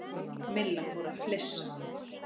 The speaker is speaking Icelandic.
Milla fór að flissa.